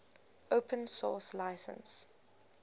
open source license